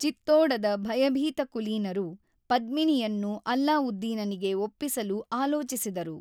ಚಿತ್ತೋಡದ ಭಯಭೀತ ಕುಲೀನರು, ಪದ್ಮಿನಿಯನ್ನು ಅಲ್ಲಾವುದ್ದೀನನಿಗೆ ಒಪ್ಪಿಸಲು ಆಲೋಚಿಸಿದರು.